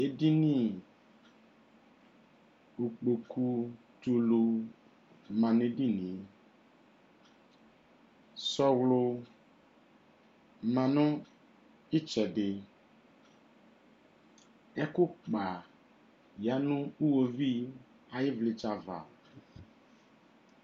Edini ikpoku tʋlu ma nʋ edini e Sɔɔlɔ ma nʋ itsɛdi Ɛkʋkpa ya nʋ iwuviu ayi vlitsɛ ava